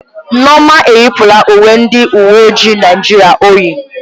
Nneoma eyipụla uwe ndị uwe ojii Naịjirịa o yi.